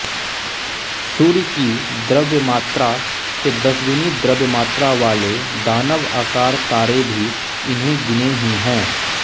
सूर्य की द्रव्यमात्रा से दसगुनी द्रव्यमात्रा वाले दानवाकार तारे भी इने गिने ही हैं